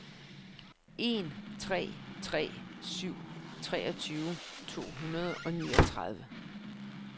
en tre tre syv treogtyve to hundrede og niogtredive